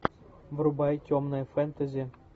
врубай темное фэнтези